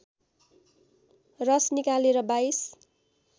रस निकालेर २२